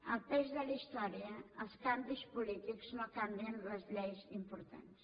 el pes de la història els canvis polítics no canvien les lleis importants